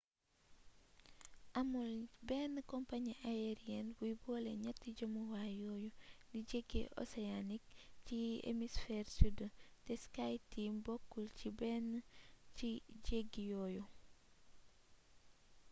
amul benn compagnie aérienne buy boole ñatti jëmuwaay yooyu di jeggi océanique ci hémisphère sud te skyteam bokkul ci benn ci jéggi yooyu